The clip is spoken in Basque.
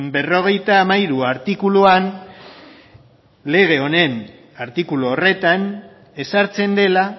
berrogeita hamairu artikuluan lege honen artikulu horretan ezartzen dela